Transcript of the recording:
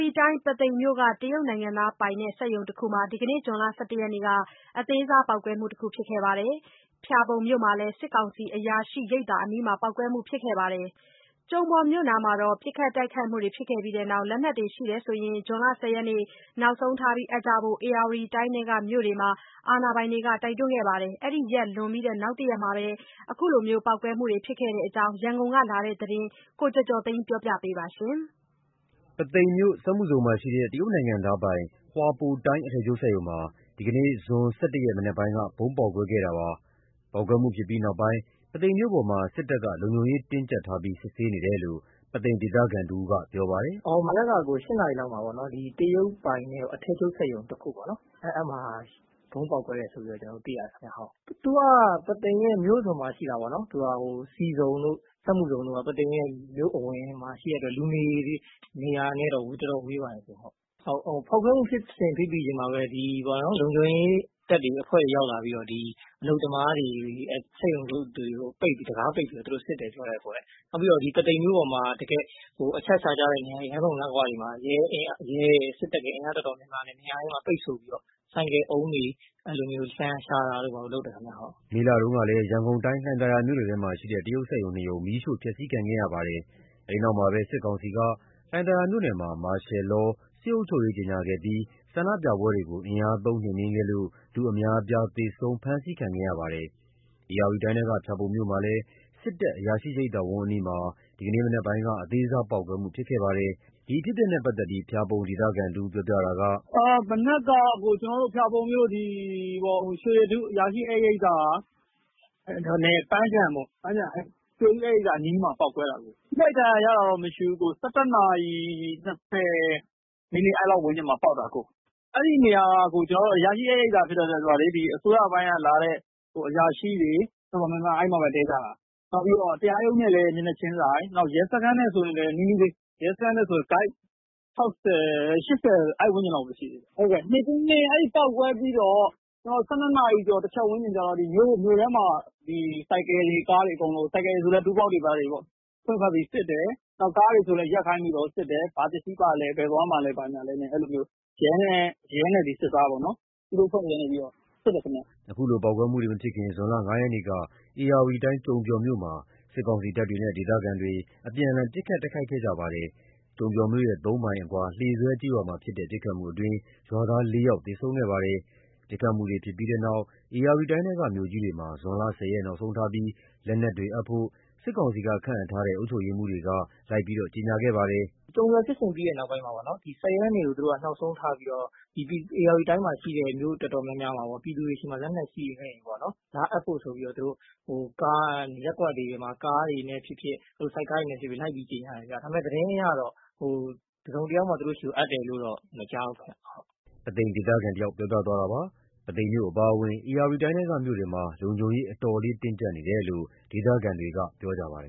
ီတိုင်း ပုသိမ်မြို့က တရုတ်နိုင်ငံသားပိုင် စက်ရုံတခုမှာ ဒီနေ့ ဇွန်လ ၁၁ ရက်မှာ အသေးစား ပေါက်ကွဲမှု ဖြစ်ခဲ့ပါတယ်။ ဖျာပုံမြို့မှာလည်း စစ်ကောင်စီ အရာရှိရိပ်သာအနီး ပေါက်ကွဲမှုဖြစ်ခဲ့ပါတယ်။ ကျုံပျော်မြို့နားမှာ ပစ်ခတ်တိုက်ခိုက်မှုတွေ ဖြစ်ခဲ့ပြီးနောက် လက်နက်တွေရှိရင် ဇွန်လ ၁၀ ရက်နောက်ဆုံးထား အပ်ကြဖို့ ဧရာဝတီတိုင်းထဲက မြို့တွေမှာ အာဏာပိုင်တွေက တိုက်တွန်းခဲ့ပါတယ်။ အဲဒီရက်လွန်ပြီး နောက်တရက်မှာ ခုလိုပေါက်ကွဲမှုတွေ ဖြစ်ခဲ့တဲ့အကြောင်း ရန်ကုန်က လာတဲ့ သတင်းကို ကိုကျော်ကျော်သိန်းကပြောပြပါမယ်။ ပုသိမ်မြို့ စက်မှုဇုန်မှာရှိတဲ့ တရုတ်နိုင်ငံသားပိုင် ဟွာပိုတိုင်း အထည်ချုပ်စက်ရုံမှာ ဒီကနေ့ ဇွန် ၁၁ ရက် မနက်ပိုင်းက ဗုံးပေါက်ကွဲမှုဖြစ်ပွားခဲ့တာပါ။ ပေါက်ကွဲမှုဖြစ်ပြီးနောက်ပိုင်း ပုသိမ်မြို့ပေါ်မှာ စစ်ကောင်စီတပ်တွေ လုံခြုံရေးတင်းကြပ်စွာ ချထားပြီး စစ်ဆေးနေတယ်လို့ ပုသိမ် ဒေသခံတဦးက အခုလိုပြောပါတယ်။ “မနက်က ၈ နာရီလောက်မှာ တရုတ်ပိုင်တဲ့ အထည်ချုပ်စက်ရုံတခုပေါ့နော်။ ဗုံးပေါက်ကွဲတယ်ဆိုပြီး သိရတယ်။ သူက ပုသိမ်ရဲ့မြို့အစွန်မှာရှိတာ ဆီဆုံတို့ စက်မှုဇုန်တို့က ပုသိမ်ရဲ့မြို့အဝင်မှာ ရှိတဲ့အတွက် လူနေ နေရာနဲ့တော့ တော်တော်ဝေးပါတယ်။ ဖောက်ခွဲမှုဖြစ်စဉ် သိသိချင်းမှာပဲ လုံခြုံရေးတပ်တွေ အဖွဲ့တွေ ရောက်လာပြီးတော့ အလုပ်သမားတွေ စက်ရုံ အလုပ်ရုံတွေကို တံခါးပိတ်ပြီးစစ်တယ်ပြောတယ်။ ပုသိမ်မြို့ရဲ့ အချက်အခြာကျတဲ့ လမ်းဆုံလမ်းဂွတွေမှာ ရဲရယ် စစ်တပ်ရယ် အင်အားတော်တော်များများ ပိတ်ဆို့ပြီးမှ ဆိုင်ကယ် ပုံးတွေ လှန်ရှာတာတွေ လုပ်တယ်ခင်ဗျ။” မေလတုန်းကလည်း ရန်ကုန်တိုင်း လှိုင်သာယာမြို့နယ်မှာရှိတဲ့ တရုတ်စက်ရုံ ၂ ရုံ မီးရှို့ ဖျက်စီးခံခဲ့ရပါတယ်။ အဲဒီနောက်မှာပဲ စစ်ကောင်စီက လှိုင်သာယာမြို့နယ်မှာ မာရှယ်လော စစ်အုပ်ချုပ်ရေး ကြေငြာခဲ့ပြီး ဆန္ဒပြမှုတွေကို အင်အားသုံး နှိမ်နှင်းခဲ့လို့ လူအများအပြား သေဆုံး၊ ဖမ်းဆီးခံခဲ့ရပါတယ်။ ဧရာဝတီတိုင်းထဲက ဖျာပုံမြို့မှာလည်း စစ်တပ် အရာရှိရိပ်သာဝန်း အနီးမှာ ဒီနေ့မနက် အသေးစားပေါက်ကွဲမှုဖြစ်ပွားခဲ့ပါတယ်။ ဒီအဖြစ်အပျက်နဲ့ပတ်သက်လို့ ဖျာပုံ ဒေသခံတဦးက ခုလိုပြောပါတယ်။ “မနက်က ဖျာပုံမြို့ ကျွန်တော်တို့ ရွှေရတု အရာရှိဧည့်ရိပ်သာ ပန်းခြံပေါ့ ရွှေရတု ဧည့်ရိပ်သာ အနီးမှာ ပေါက်ကွဲ တာပေါ့။ ထိခိုက်ဒဏ်ရာ ရတာတော့မရှိဘူး။ ၁၁ နာရီ ၂၀ အဲ့လောက်ဝန်းကျင်မှာ ပေါက်တာ။ အဲ့နေရာက အရာရှိ ဧည့်ရိပ်သာ ဖြစ်တဲ့အတွက် အစိုးရပိုင်းက လာတဲ့အရာရှိတွေ တော်တော်များများ အဲ့မှာပဲ တည်းကြတာ။ နောက်ပြီးတော့ တရားရုံးနဲ့လည်း မျက်နှာချင်းဆိုင် ရဲစခန်းနဲ့ဆိုရင်လည်း နီးနီးလေး ရဲစခန်းနဲ့ဆို ကိုက် ၆၀ ၈၀ အဲ့ဝန်းကျင်လောက်ပဲရှိတယ်။ အဲ့ပေါက်ကွဲပြီးတော့ ၁၂ နာရီ ၁ ချက်ဝန်းကျင်လောက်မှာ မြို့ထဲမှာ ဆိုင်ကယ်တွေ ကားတွေအကုန်လုံး ဆိုင်ကယ်တွေဆိုလည်း Toolbox တွေဘာတွေ ဖွင့်ပြီး စစ်တယ်။ ကားတွေဆိုလည်း ရပ်ခိုင်းပြီးစစ်တယ်။ ဘာပစ္စည်းပါလဲ ဘယ်သွားမှာလည်း ဆိုပြီး ရဲနဲ့စစ်သားပေါ့ သူတို့ အဖွဲ့တွေက စစ်တယ်ခင်ဗျ။” အခုလို ပေါက်ကွဲတာတွေမဖြစ်ခင် ဇွန်လ ၅ ရက်နေ့က ဧရာဝတီတိုင်း ကျုံပျော်မြို့မှာ စစ်ကောင်စီတပ်တွေနဲ့ ဒေသခံတွေ အပြန်အလှန် ပစ်ခတ် တိုက်ခိုက်မှုဖြစ်ခဲ့ကြပါတယ်။ ကျုံပျော်မြို့ရဲ့သုံးမိုင်အကွာ လှေဆွဲကျေးရွာမှာ ဖြစ်တဲ့ ပစ်ခတ်မှုအတွင်း ရွာသား ၄ ယောက်သေဆုံးခဲ့ပါတယ်။ ပစ်ခတ်မှုတွေဖြစ်ပြီးနောက် ဧရာဝတီတိုင်းထဲက မြို့ကြီးတွေမှာ ဇွန် ၁၀ ရက် နောက်ဆုံးထားပြီး လက်နက်တွေ အပ်ဖို့ စစ်ကောင်စီက ခန့်အပ်ထားတဲ့အုပ်ချုပ်ရေးမှူးတွေက လိုက်လံပြောကြားခဲ့ပါတယ်။ “ကျုံပျော်ဖြစ်စဉ်ဖြစ်ပြီးတဲ့နောက်ပိုင်းမှာပေါ့နော် ၁၀ ရက်နေ့ကို နောက်ဆုံးထားပြီး ဧရာဝတီတိုင်းမှာရှိတဲ့ မြို့တော်တော်များများမှာ ပြည်သူတွေဆီမှာ လက်နက်ရှိရင် လာ အပ်ဖို့ ရပ်ကွက်တွေမှာ ကားတွေနဲ့ ဖြစ်ဖြစ် ဆိုက်ကားတွေနဲ့ ဖြစ်ဖြစ် လိုက်ကြေငြာတယ်။ သတင်းအရတော့ တစုံတယောက်မှ သူတို့ဆီကို အပ်တယ် မကြားဘူး။” ပုသိမ်ဒေသခံတယောက်ပြောပြတာပါ။ ပုသိမ်မြို့အပါအဝင် ဧရာဝတီတိုင်းထဲက မြို့တွေမှာ လုံခြုံရေး အတော်လေး တင်းကြပ်နေတယ်လို့ ဒေသခံတွေက ပြောပြကြပါတယ်